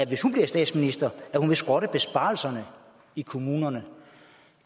hvis hun bliver statsminister at hun vil skrotte besparelserne i kommunerne